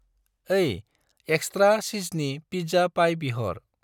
ओइ, एक्स्रा चिजनि फिज्जा पाइ बिहर।